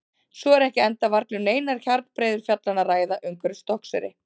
Svo er ekki enda varla um neinar hjarnbreiður fjallanna að ræða umhverfis Stokkseyri.